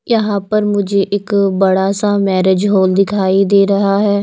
यहां पर मुझे एक बड़ा सा मैरिज हॉल दिखाई दे रहा है।